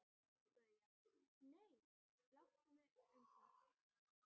BAUJA: Nei, láttu mig um það.